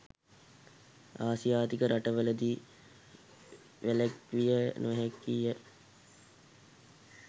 ආසියාතික රටවලදී වැළැක්විය නොහැකිය.